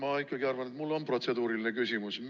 Jaa, ma ikkagi arvan, et mul on protseduuriline küsimus.